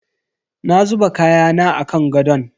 Na zuba kayana a kan gadon.